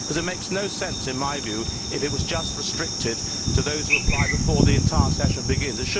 It makes no sense in my view if it is just restricted to those who apply before the entire sitting begins.